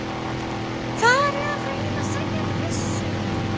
Hvað er ég að reyna að segja með þessu?